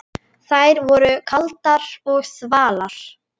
Þær voru kaldar og þvalar.